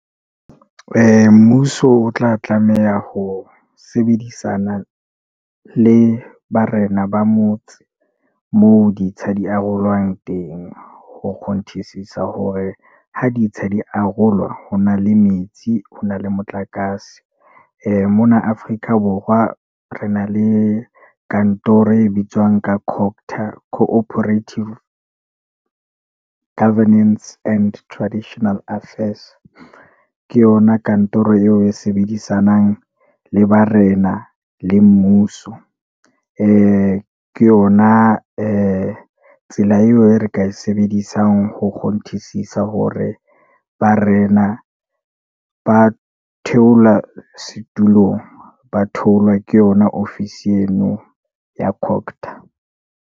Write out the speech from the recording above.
Mmuso o tla tlameha ho sebedisana le barena ba motse moo ditsha di arolwang teng ho kgonthisisa hore ha ditsha di arolwa ho na le metsi, ho na le motlakase. Mona Afrika Borwa re na le kantoro e bitswang ka Cooperative Governance and Traditional Affairs. Ke yona kantoro eo e sebedisanang le barena le mmuso. Ke yona tsela eo e re ka e sebedisang ho kgonthisisisa hore barena ba theola setulong, ba theolwa ke yeno ya .